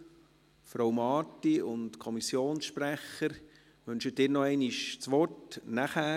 Die Antragstellerin, Frau Marti, und der Kommissionssprecher, wünschen Sie noch einmal das Wort? – Nachher.